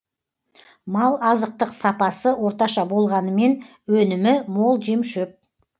мал азықтық сапасы орташа болғанымен өнімі мол жемшөп